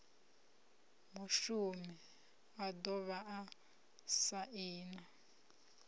mushumi a dovha a saina